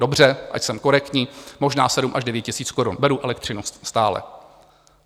Dobře, ať jsem korektní, možná 7 až 9 tisíc korun beru elektřinu stále.